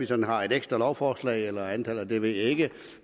sådan har et ekstra lovforslag eller andet det ved jeg ikke